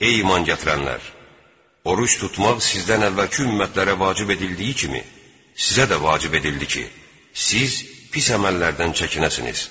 Ey iman gətirənlər, oruc tutmaq sizdən əvvəlki ümmətlərə vacib edildiyi kimi, sizə də vacib edildi ki, siz pis əməllərdən çəkinəsiniz.